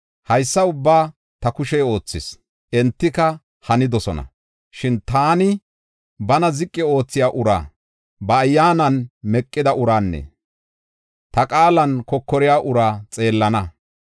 Haysa ubbaa ta kushey oothis; entika hanidosona. Shin taani bana ziqi oothiya uraa, ba ayyaanan meqida uraanne ta qaalan kokoriya ura xeellana.